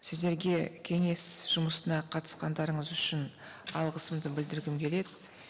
сіздерге кеңес жұмысына қатысқандарыңыз үшін алғысымды білдіргім келеді